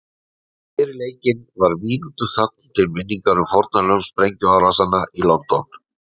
Fyrir leikinn var mínútu þögn til minningar um fórnarlömb sprengjuárásanna á London.